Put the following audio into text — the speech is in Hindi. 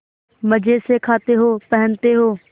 मजे से खाते हो पहनते हो